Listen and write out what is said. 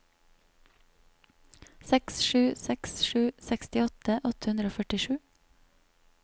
seks sju seks sju sekstiåtte åtte hundre og førtisju